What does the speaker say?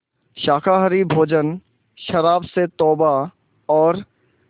शाकाहारी भोजन शराब से तौबा और